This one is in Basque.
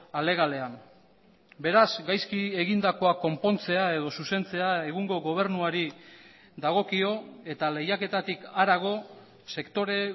alegalean beraz gaizki egindakoa konpontzea edo zuzentzea egungo gobernuari dagokio eta lehiaketatik harago sektore